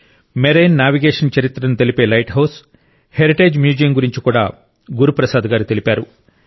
marine navigation చరిత్రను తెలిపే lighthouse heritage museum గురించి కూడా గురు ప్రసాద్ గారు తెలిపారు